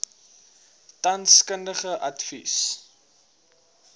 tans kundige advies